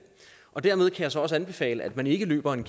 og dermed kan jeg så også anbefale at man ikke løber en